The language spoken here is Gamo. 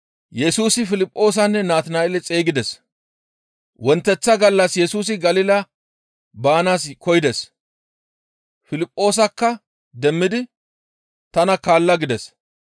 Wonteththa gallas Yesusi Galila baanaas koyides. Piliphoosakka demmidi, «Tana kaalla» gides.